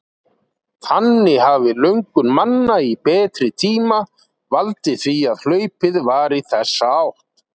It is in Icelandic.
Þannig hafi löngun manna í betri tíma valdið því að hlaupið var í þessa átt.